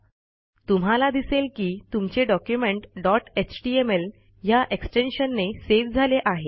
तुम्हाला दिसेल की तुमचे डॉक्युमेंट डॉट एचटीएमएल ह्या एक्सटेन्शनने सेव्ह झाले आहे